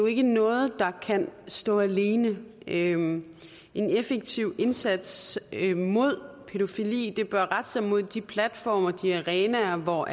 ikke noget der kan stå alene en effektiv indsats mod pædofili bør rette sig mod de platforme og de arenaer hvor